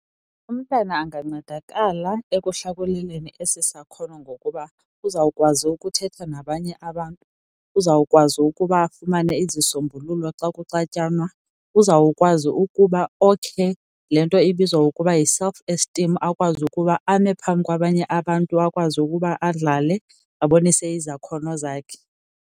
Umntana angancedakala ekuhlakuleleni esi sakhono ngokuba uzawukwazi ukuthetha nabanye abantu, uzawukwazi ukuba afumane izisombululo xa kuxatyanwa. Uzawukwazi ukuba okhe le nto ibizwa ukuba yi-self esteem, akwazi ukuba ame phambi kwabanye abantu akwazi ukuba adlale abonise izakhono zakhe.